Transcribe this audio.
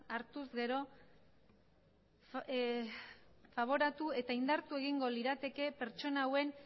hartuz gero faboratu eta indartu egingo lirateke pertsona hauen